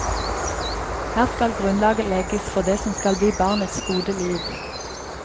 Her skal grunnlaget legges for det som skal bli barnets gode liv.